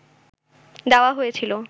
দেওয়া হয়েছিল